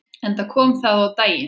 Enda kom það á daginn.